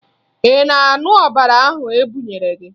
Ị na-aṅụ ọbara ahụ e bunyere gị?